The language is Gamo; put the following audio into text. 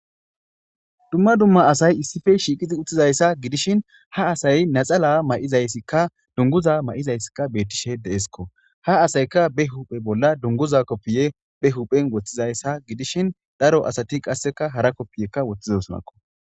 Dumma dumma asay issippe shiiqizi uttizayssa gidishin ha asay naxala may7izayssikka dunguza ma7izayssikka bettishe deesikko. Ha asayka be huphe bolla dunguza koppiye be huphen woththizayssa gidishin daro asati qasseka hara koppiyekka woththizosonakko.